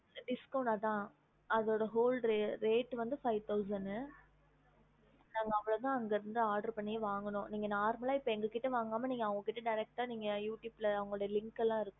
discount அத அதோட மொத வில்லை ஐந்துதயிரம் okay நாங்க அவ்ளோதா அங்க இருது oder வங்கினோம் நீங்க normal எங்கிட்ட வாங்காம அவங்க கிட்ட derek youtube link இருக்கு